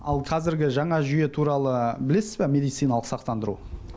ал қазіргі жаңа жүйе туралы білесіз ба медициналық сақтандыру